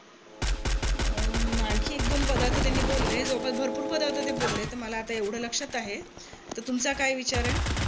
अं आणखी एक दोन पदार्थ त्यांनी बोलले. जवळपास भरपूर पदार्थ ते बोलले तर मला आता एवढ लक्षात अआहे. तर तुमचा काय विचार आहे?